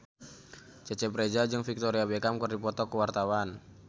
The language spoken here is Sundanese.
Cecep Reza jeung Victoria Beckham keur dipoto ku wartawan